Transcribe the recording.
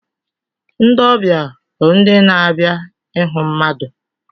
Ndị ọbịa bụ ndị na-abịa ịhụ mmadụ.